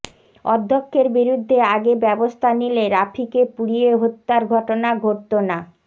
অধ্যক্ষের বিরুদ্ধে আগে ব্যবস্থা নিলে রাফিকে পুড়িয়ে হত্যার ঘটনা ঘটতো না